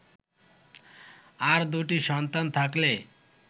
আর দুটি সন্তান থাকলে